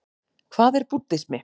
Hvað er búddismi?